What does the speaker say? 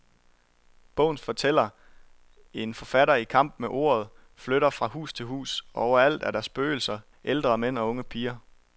Bogens fortæller, en forfatter i kamp med ordet, flytter fra hus til hus, og overalt er der spøgelser, ældre mænd og unge piger.